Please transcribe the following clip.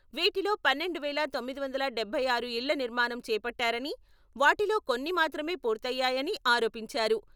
వీటిలో పన్నెండు వేల తొమ్మిది వందల డబ్బై ఆరు ఇళ్ల నిర్మాణం చేపట్టారని వాటిలో కొన్ని మాత్రమే పూర్తయ్యాయని ఆరోపించారు.